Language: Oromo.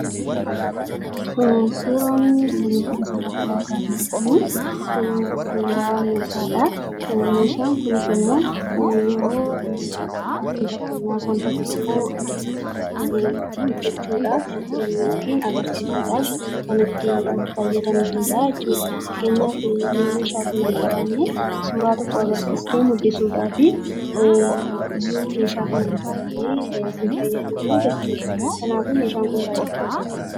Suuraan nuti asirratti argaa jirru kuni suuraa meeshaadha. Meeshaan kunisimmoo yeroo fakkeenyaaf wanta tokko hojjechuudhaaf fi agarsiusuudhaaf kan itti fayyadamnuudha jechuudha. Fakkeenyaaf yoo meeshaa kana hin qabaanne suuraa tokko agarsiistee mul'isuuf yoo meeshaa kana hin qabaanne sin fayyadu jechuudha. Kanaafuu neeshaan kun baay'ee barbaachisaadha.